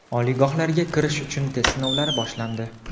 Oliygohlarga kirish uchun test sinovlari boshlandi.